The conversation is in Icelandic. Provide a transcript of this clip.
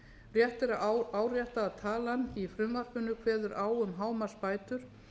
rétt er að árétta að talan í frumvarpinu kveður á um hámarksbætur